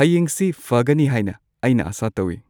ꯍꯌꯦꯡꯁꯤ ꯐꯒꯅꯤ ꯍꯥꯏꯅ ꯑꯩꯅ ꯑꯁꯥ ꯇꯧꯋꯤ